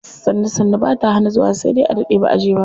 Sannu sannu bata hana zuwa sai dai a daɗe baʼa je ba.